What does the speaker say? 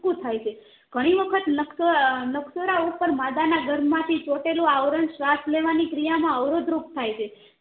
સુથરું થાય છે ઘણી વખત નક્સ નક્ષરા ઉપર માદા ના ગર્ભ માંથી ચોટેલું આવરણ શ્વાસ લેવાની ક્રિયા માં અવરોધ રૂપ થાય છે